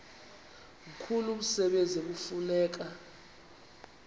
mkhulu umsebenzi ekufuneka